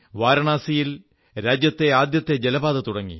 വാരണാസിയിൽ രാജ്യത്തെ ആദ്യത്തെ ജലപാത തുടങ്ങി